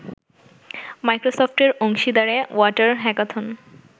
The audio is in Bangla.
মাইক্রোসফটের অংশীদারে ওয়াটার হ্যাকাথন